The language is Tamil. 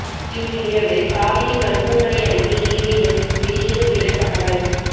இன்று இரவு காவேரி மருத்துவமனை அறிக்கை ஏதேனும் வெளியிடும் என தகவல்